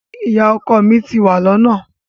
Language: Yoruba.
Ìyá ọkọ mi ti wà lọ́nà.